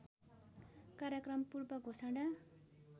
कार्यक्रम पूर्व घोषणा